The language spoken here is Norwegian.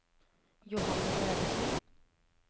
Johanne Bredesen